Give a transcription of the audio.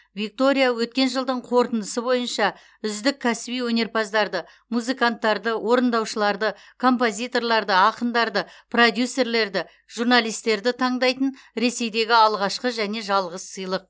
виктория өткен жылдың қорытындысы бойынша үздік кәсіби өнерпаздарды музыканттарды орындаушыларды композиторларды ақындарды продюсерлерді журналистерді таңдайтын ресейдегі алғашқы және жалғыз сыйлық